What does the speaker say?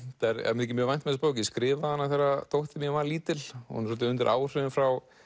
mér þykir mjög vænt um þessa bók ég skrifaði hana þegar dóttir mín var lítil hún er svolítið undir áhrifum frá